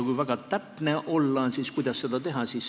Kui väga täpne olla, siis kuidas seda teha?